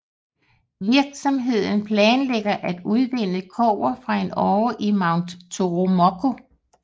Virksomheden planlægger at udvinde kobber fra en åre i Mount Toromocho